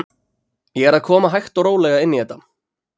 Ég er að koma hægt og rólega inn í þetta.